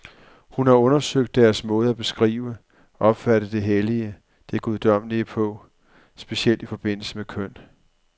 Hun har undersøgt deres måde at beskrive, opfatte det hellige, det guddommelige på, specielt i forbindelse med køn.